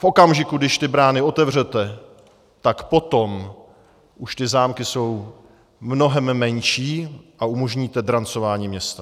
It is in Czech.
V okamžiku, když ty brány otevřete, tak potom už ty zámky jsou mnohem menší a umožníte drancování města.